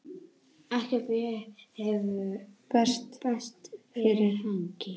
Ekkert bréf berst fyrir helgi.